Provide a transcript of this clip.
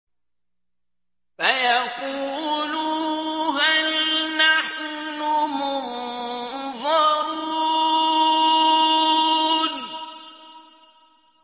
فَيَقُولُوا هَلْ نَحْنُ مُنظَرُونَ